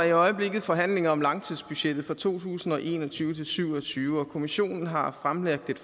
i øjeblikket forhandlinger om langtidsbudgettet for to tusind og en og tyve til syv og tyve og kommissionen har fremlagt et